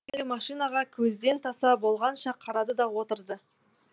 ол әлгі машинаға көзден таса болғанша қарады да отырды